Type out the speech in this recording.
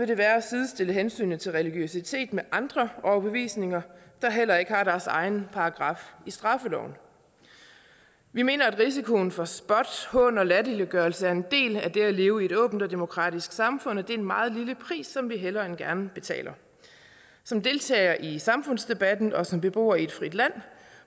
det være at sidestille hensynet til religiøsitet med andre overbevisninger der heller ikke har deres egen paragraf i straffeloven vi mener at risikoen for spot hån og latterliggørelse er en del af det at leve i et åbent og demokratisk samfund og det er en meget lille pris som vi hellere end gerne betaler som deltager i samfundsdebatten og som beboer i et frit land